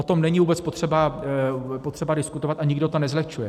O tom není vůbec potřeba diskutovat a nikdo to nezlehčuje.